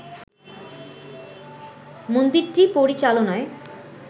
মন্দিরটি পরিচালনায়